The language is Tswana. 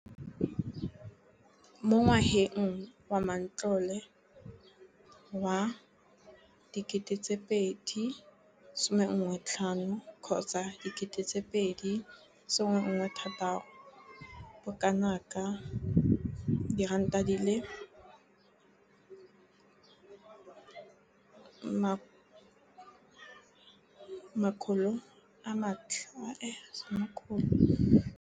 Mo ngwageng wa matlole wa 2015,16, bokanaka R5 703 bilione e ne ya abelwa lenaane leno.